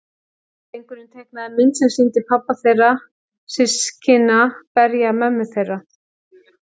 Drengurinn teiknaði mynd sem sýndi pabba þeirra systkina berja mömmu þeirra.